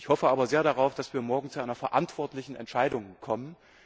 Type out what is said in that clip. Ich hoffe aber sehr darauf, dass wir morgen zu einer verantwortlichen Entscheidung kommen.